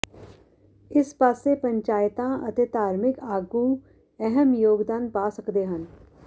ਇਸ ਪਾਸੇ ਪੰਚਾਇਤਾਂ ਅਤੇ ਧਾਰਮਿਕ ਆਗੂ ਅਹਿਮ ਯੋਗਦਾਨ ਪਾ ਸਕਦੇ ਹਨ